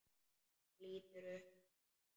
Hann lítur upp núna.